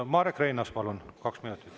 Marek Reinaas, palun, kaks minutit.